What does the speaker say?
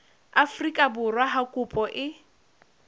afrika borwa ha kopo e